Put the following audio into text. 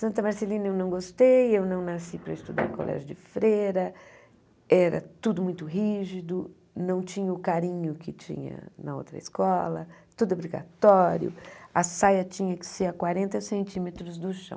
Santa Marcelina eu não gostei, eu não nasci para estudar em colégio de freira, era tudo muito rígido, não tinha o carinho que tinha na outra escola, tudo obrigatório, a saia tinha que ser a quarenta centímetros do chão.